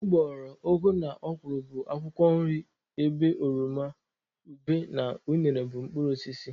Ụgbọghoro, ụgụ na ọkwụrụ bụ akwụkwọ nri ebe oroma, ube na unere bụ mkpụrụosisi.